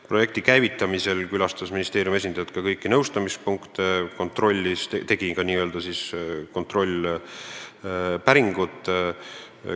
Projekti käivitamisel külastas ministeeriumi esindaja ka kõiki nõustamispunkte ja tegi ka n-ö kontrollpäringu.